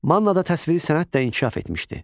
Mannada təsviri sənət də inkişaf etmişdi.